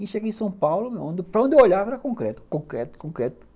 E cheguei em São Paulo, para onde eu olhava era concreto, concreto, concreto.